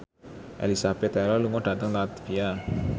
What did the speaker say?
Elizabeth Taylor lunga dhateng latvia